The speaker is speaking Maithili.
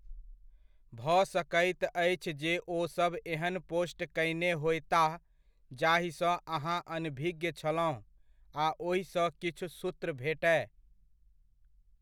भऽ सकैत अछि जे ओसभ एहन पोस्ट कयने होयताह, जाहिसँ अहाँ अनभिज्ञ छलहुँ आ ओहिसँ किछु सूत्र भेटय।